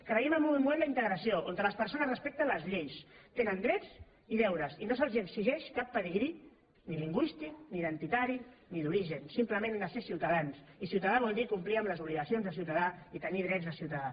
creiem en un model d’integració on les persones respecten les lleis tenen drets i deures i no se’ls exigeix cap pedigrí ni lingüístic ni identitari ni d’origen simplement han de ser ciutadans i ciutadà vol dir complir amb les obligacions de ciutadà i tenir drets de ciutadà